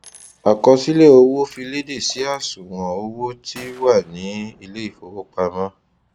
àkọsílẹ owó fi léde sí àṣùwọn owó tí wà ní ilé ifowopamọ